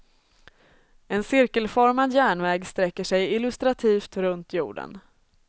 En cirkelformad järnväg sträcker sig illustrativt runt jorden.